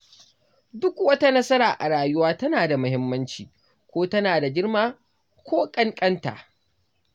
Duk wata nasara a rayuwa tana da muhimmanci, ko tana da girma ko ƙankanta.